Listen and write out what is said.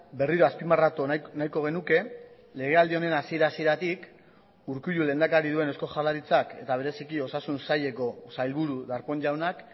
berriro azpimarratu nahiko genuke legealdi honen hasiera hasieratik urkullu lehendakari duen eusko jaurlaritzak eta bereziki osasun saileko sailburu darpón jaunak